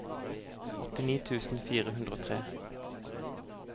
åttini tusen fire hundre og tre